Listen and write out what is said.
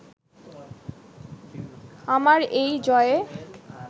আমার এই জয়ে